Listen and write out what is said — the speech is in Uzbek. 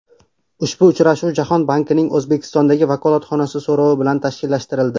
Ushbu uchrashuv Jahon bankining O‘zbekistondagi vakolatxonasi so‘rovi bilan tashkillashtirildi.